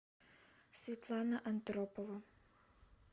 светлана андропова